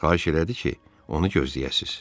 Xahiş elədi ki, onu gözləyəsiniz.